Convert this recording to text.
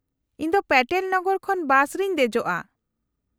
-ᱤᱧ ᱫᱚ ᱯᱮᱴᱮᱞᱱᱚᱜᱚᱨ ᱠᱷᱚᱱ ᱵᱟᱥ ᱨᱮᱧ ᱫᱮᱡᱚᱜᱼᱟ ᱾